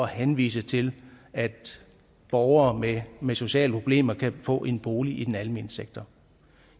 henvise til at borgere med med sociale problemer kan få en bolig i den almene sektor